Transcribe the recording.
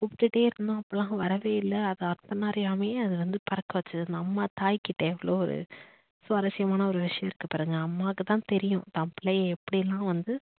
கூப்பிட்டுட்டே இருந்தோம் அப்பளாம் வரவே இல்ல அது தன்ன அறியாமையே அத வந்து பறக்க வச்சது அந்த தாய் கிட்ட எவ்ளோ ஒரு சுவாரஸ்யமான ஒரு விஷயம் இருக்கு பாருங்க அம்மாக்கு தான் தெரியும் தான் பிள்ளையை எப்படிலாம் வந்து